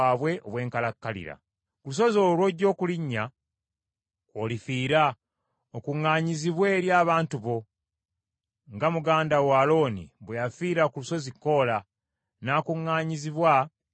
Ku lusozi olwo lw’ojja okulinnya kw’olifiira okuŋŋaanyizibwe eri abantu bo, nga muganda wo Alooni bwe yafiira ku lusozi Koola, n’akuŋŋaanyizibwa eri abantu be.